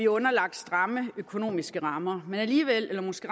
underlagt stramme økonomiske rammer men alligevel eller måske